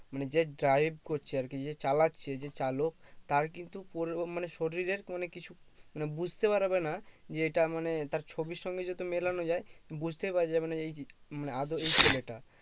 মানে যে drive করছে আর কি যে চালাচ্ছে যে চালক তার কিন্তু পুরো মানে শরীর এর মানে কিছু মানে বুঝতে পারবে না যেটা মানে তার ছবির সঙ্গে যদি মেলানো যায় বুঝতেই পৰ যাবে না যে এই মানে আদৌ এই ছেলেটা